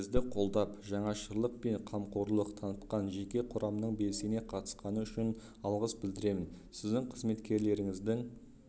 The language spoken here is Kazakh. бізді қолдап жаңашырлық және қамқорлық танытқан жеке құрамның белсене қатысқаны үшін алғыс білдіремін сіздің қызметкерлеріңіздің